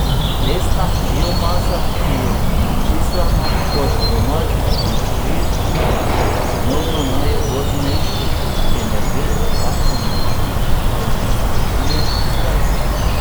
Lesna biomasa, ki jo čislamo kot domač, obnovljiv in cenovno najugodnejši energent, lahko močno onesnažuje zrak.